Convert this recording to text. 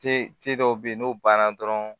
Te cɛ dɔw be yen n'o banna dɔrɔn